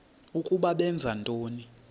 ukuba benza ntoni